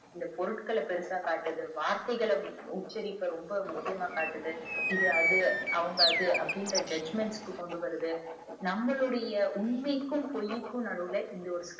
இந்த பொருட்கள பெருசா காட்டுது வார்த்தைகள உச்சரிப்ப ரொம்ப முக்கியமா காட்டுது இது அது அவங்க அது அப்புடிங்குற judgement க்கு கொண்டுவருது நம்மலோடைய உண்மைக்கும் பொய்க்கும் நடுவுல இந்த ஒரு